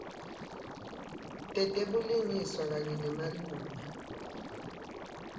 tetebulungiswa kanye nemalunga